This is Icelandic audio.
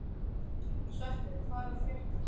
Sveppi, hvað er að frétta?